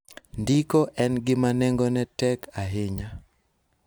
Ndiko en gima nengone tek ahinya.